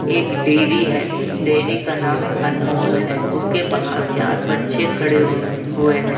एक डेरी है डेरी का नाम अनमोल है उसके बाहर चार बच्चे खड़े हुए हैं ।